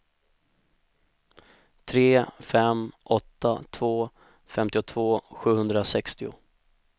tre fem åtta två femtiotvå sjuhundrasextio